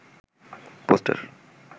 poster